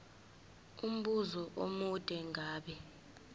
umbuzo omude ngabe